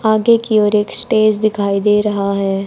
आगे की ओर एक स्टेज दिखाई दे रहा है।